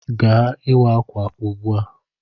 Gawa ịwa ákwà ugbu a.